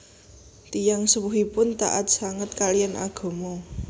Tiyang sepuhipun taat sanget kaliyan agama